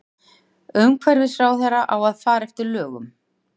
Umhverfisráðherra á að fara að lögum